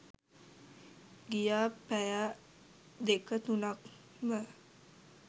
ගියා පැය දෙක තුනක්ම